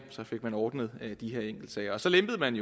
så fik man ordnet de her enkeltsager så lempede man